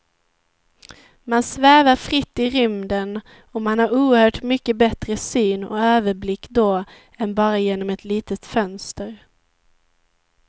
Man svävar fritt i rymden och man har oerhört mycket bättre syn och överblick då än bara genom ett litet fönster.